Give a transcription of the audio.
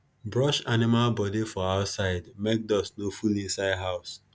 brush animal body for outside make dust no full inside house